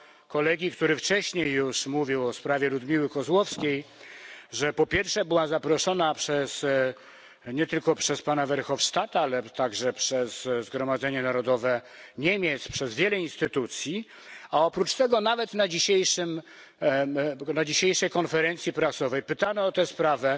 koledze, który wcześniej już mówił o sprawie Ludmiły Kozłowskiej, że po pierwsze była zaproszona nie tylko przez pana Verhofstadta, ale także przez Zgromadzenie Narodowe Niemiec, przez wiele instytucji. A oprócz tego nawet na dzisiejszej konferencji prasowej pytany o tę sprawę